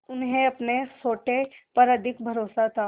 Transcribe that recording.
उन्हें अपने सोटे पर अधिक भरोसा था